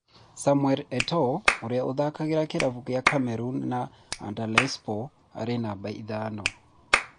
Samuel Eto'o ũria ũthakagira kĩravũkĩa Cameroon na Antalyaspor arĩ numba ithano.